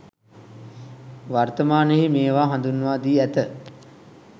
වර්තමානයෙහි මේවා හඳුන්වා දී ඇත.